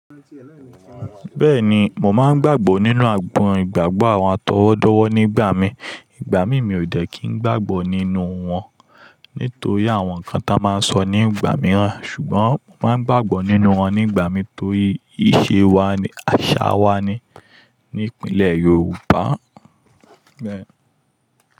Bẹ́ẹ̀ni, mò máa ń gbàgbọ́ nínú àgbọn ìgbàgbọ́ àwọn atọwọ́dọ́wọ́ nígbà mi. Ìgbà mí mi ò dẹ́ kí ń gbàgbọ́ nínú wọn nítorí àwọn nǹkan tí wọ́n máa ń sọ nígbà mìíràn. Ṣùgbọ́n mò máa ń gbàgbọ́ nínú wọn nígbà mì tórí iṣẹ́ wanni, àṣà wa ni ní ìpínlẹ̀ Yorùbá bẹ́ẹ̀.